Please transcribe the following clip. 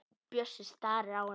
Bjössi starir á hana.